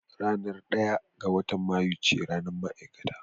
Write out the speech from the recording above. Ranar ɗaya ga watan Mayu ce ranar ma'aikata